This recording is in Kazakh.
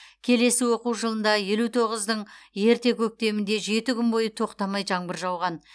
келесі оқу жылында елу тоғыздың ерте көктемінде жеті күн бойы тоқтамай жаңбыр жауған